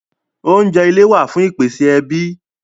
Oúnjẹ ilé wá fún ìpèsè ẹbí